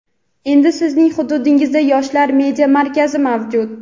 endi Sizning hududingizda "Yoshlar media markazi" mavjud!.